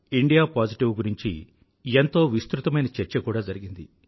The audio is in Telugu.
ఇండియాపోజిటివ్ గురించి ఎంతో విస్తృతమైన చర్చ కూడా జరిగింది